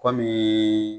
Kɔmi